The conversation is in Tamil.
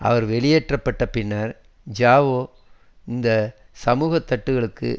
அவர் வெளியேற்ற பட்ட பின்னர் ஜாவோ இந்த சமூக தட்டுக்களுக்கு